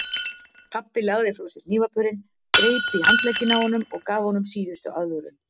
Pabbi lagði frá sér hnífapörin, greip í handlegginn á honum og gaf honum síðustu aðvörun.